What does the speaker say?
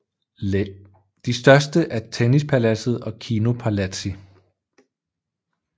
De største er Tennispaladset og Kinopalatsi